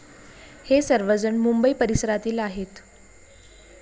हे सर्वजण मुंबई परिसरातील आहेत.